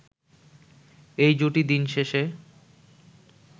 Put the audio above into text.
এই জুটি দিনশেষে